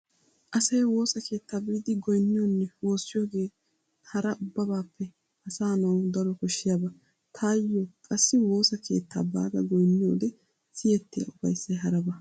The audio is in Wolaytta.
Asay woosa keettaa biidi goynniyonne woossiyogee hara ubbabaappe asa nawu daro koshshiyaba. Taayyo qassi woosa keettaa baada goynniyode siyettiya ufayssay haraba.